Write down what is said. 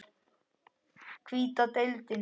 Hvíta deildin